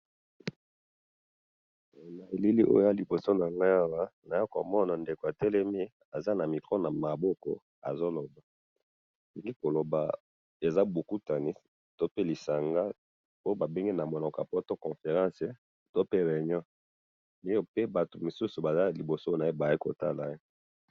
Elili liboso na nga awa, eza moto atelemi liboso ya batu, azo lobo , eza na kati ya conférence.